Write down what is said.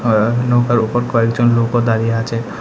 আর নৌকার ওপর কয়েকজন লোকও দাঁড়িয়ে আচে ।